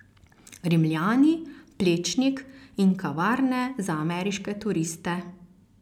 Rimljani, Plečnik in kavarne za ameriške turiste.